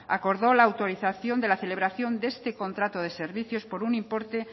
acordó la autorización de la celebración de este contrato de servicios por un importe